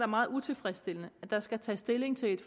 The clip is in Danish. meget utilfredsstillende at der skal tages stilling til et